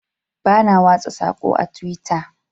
Bana watsa sako a twitter.